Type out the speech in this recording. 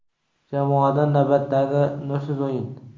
Jamoadan navbatdagi nursiz o‘yin.